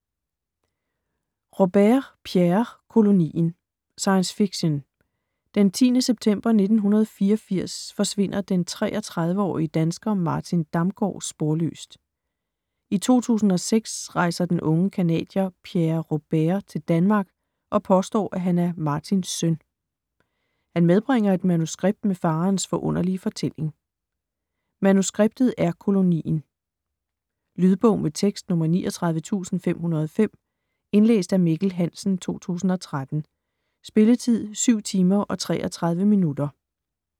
Robert, Pierre: Kolonien Science fiction. Den 10. september 1984 forsvinder den 33-årige dansker Martin Damgaard sporløst. I 2006 rejser den unge canadier Pierre Robert til Danmark og påstår at han er Martins søn. Han medbringer et manuskript med faderens forunderlige fortælling. Manuskriptet er Kolonien. Lydbog med tekst 39505 Indlæst af Mikkel Hansen, 2013. Spilletid: 7 timer, 33 minutter.